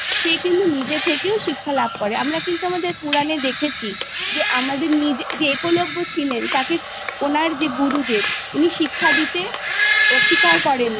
সে কিন্তু নিজে থেকেও শিক্ষা লাভ করে আমরা কিন্তু আমাদের পূরণে দেখেছি যে আমাদের নিজে যে একলব্য ছিলেন তাকে ওনার যে গুরুদেব উনি শিক্ষা দিতে অধিকার করেন